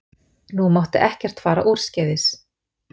Nú mátti ekkert fara úrskeiðis.